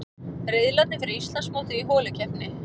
Riðlarnir fyrir Íslandsmótið í holukeppni